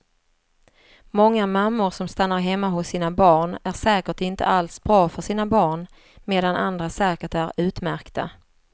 Många mammor som stannar hemma hos sina barn är säkert inte alls bra för sina barn medan andra säkert är utmärkta.